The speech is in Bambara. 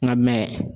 Nka mɛn